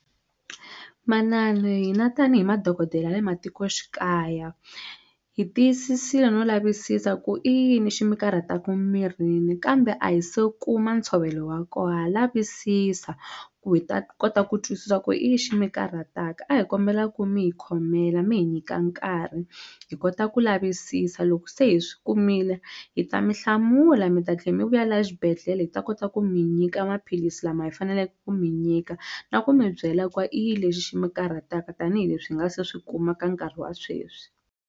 Manana hina tanihi madokodela ya le matikoxikaya hi tiyisisile no lavisisa ku i yini xi mi karhataku mirini kambe a hi se kuma ntshovelo wa koho ha lavisisa ku hi ta kota ku twisisa ku i yi xi mi karhataka a hi kombela ku mi hi khomela mi hi nyika nkarhi hi kota ku lavisisa loko se hi swi kumile hi ta mi hlamula mi ta tlhe mi vuya la xibedhlele hi ta kota ku mi nyika maphilisi lama hi faneleke ku mi nyika na ku mi byela ku va i yi lexi xi mi karhataka tanihileswi hi nga se swi kuma ka nkarhi wa sweswi.